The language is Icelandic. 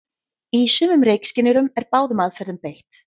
Í sumum reykskynjurum er báðum aðferðum beitt.